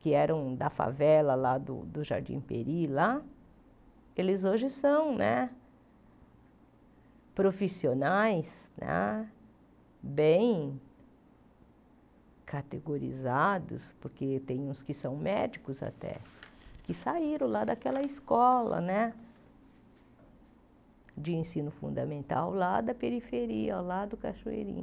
que eram da favela lá do do Jardim Peri lá, eles hoje são né profissionais ah, bem categorizados, porque tem uns que são médicos até, que saíram lá daquela escola né de ensino fundamental, lá da periferia, lá do Cachoeirinho.